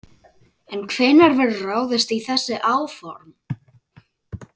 En hvenær verður ráðist í þessi áform?